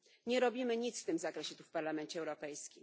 Nie robimy nic w tym zakresie w Parlamencie Europejskim.